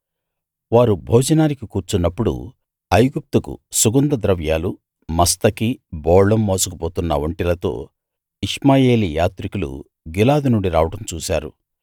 వారు భోజనానికి కూర్చున్నపుడు ఐగుప్తుకు సుగంధ ద్రవ్యాలు మస్తకి బోళం మోసుకుపోతున్న ఒంటెలతో ఇష్మాయేలీ యాత్రికులు గిలాదు నుండి రావడం చూశారు